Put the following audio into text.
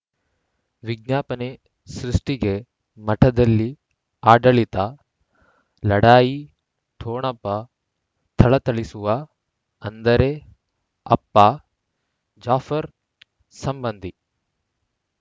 ವಿಜ್ಞಾಪನೆ ಸೃಷ್ಟಿಗೆ ಮಠದಲ್ಲಿ ಆಡಳಿತ ಲಢಾಯಿ ಠೊಣಪ ಥಳಥಳಿಸುವ ಅಂದರೆ ಅಪ್ಪ ಜಾಫರ್ ಸಂಬಂಧಿ